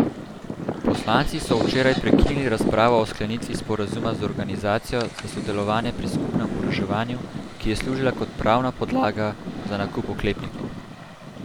Poslanci so včeraj prekinili razpravo o sklenitvi sporazuma z Organizacijo za sodelovanje pri skupnem oboroževanju, ki je služila kot pravna podlaga za nakup oklepnikov.